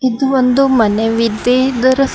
ಇದು ಒಂದು ಮನೆ ವಿದೆ ಇದರ ಸು--